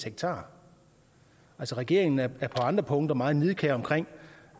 altså regeringen er på andre punkter meget nidkær